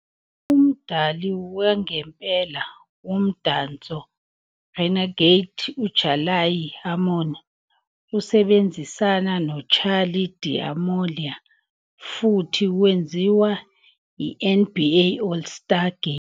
"Umdali wangempela womdanso 'Renegade' uJalaiah Harmon usebenzisane noCharli D'Amelio futhi wenziwa eNBA All-Star Game".